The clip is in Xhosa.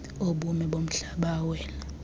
obume bomhlaba awela